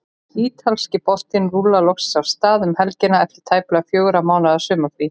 Ítalski boltinn rúllar loksins af stað um helgina eftir tæplega fjögurra mánaða sumarfrí.